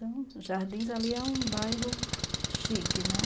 Então, Jardins ali é um bairro chique, né?